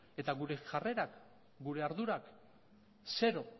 eta gure jarrerak gure ardurak zero